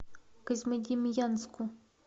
козьмодемьянску